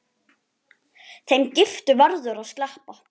Þeim giftu verður að sleppa.